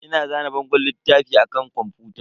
Ina zane bangon littafi a kan kwamfuta.